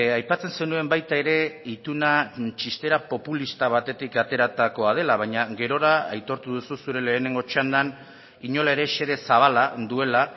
aipatzen zenuen baita ere ituna txistera populista batetik ateratakoa dela baina gerora aitortu duzu zure lehenengo txandan inola ere xede zabala duela